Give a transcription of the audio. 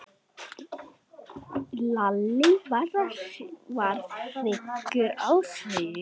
Lalli varð hryggur á svip.